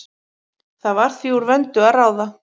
Það var því úr vöndu að ráða.